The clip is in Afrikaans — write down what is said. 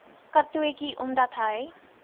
katotjie omdat hy